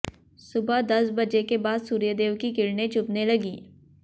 सुबह दस बजे के बाद सूर्यदेव की किरणें चुभने लगीं